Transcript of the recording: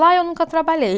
Lá eu nunca trabalhei.